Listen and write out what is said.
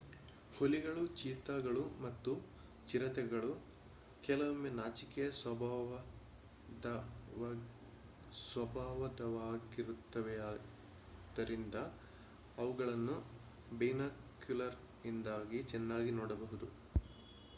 ಹುಲಿಗಳು ಚೀತಾ ಗಳು ಮತ್ತು ಚಿರತೆಗಳು ಕೆಲವೊಮ್ಮೆ ನಾಚಿಕೆಯ ಸ್ವಭಾವದವಾಗಿರುತ್ತವೆಯಾದ್ದರಿಂದ ಅವುಗಳನ್ನು ಬೈನಾಕುಲರ್ಸ್ನಿಂದಾಗಿ ಚೆನ್ನಾಗಿ ನೋಡಬಹುದು